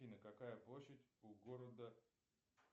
афина какая площадь у города